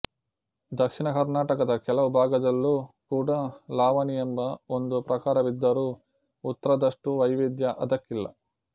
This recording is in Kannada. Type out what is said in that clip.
ದಕ್ಷಿಣ ಕರ್ನಾಟಕದ ಕೆಲವು ಭಾಗದಲ್ಲೂ ಕೂಡ ಲಾವಣಿ ಎಂಬ ಒಂದು ಪ್ರಕಾರವಿದ್ದರೂ ಉತ್ತರದಷ್ಟೂ ವೈವಿದ್ಯ ಅದಕ್ಕಿಲ್ಲ